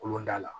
Kolonda la